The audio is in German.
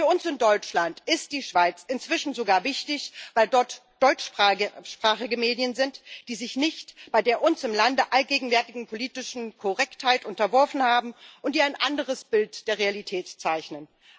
Für uns in Deutschland ist die Schweiz inzwischen sogar wichtig, weil dort deutschsprachige Medien sind, die sich nicht der bei uns im Lande allgegenwärtigen politischen Korrektheit unterworfen haben und die ein anderes Bild der Realität zeichnen.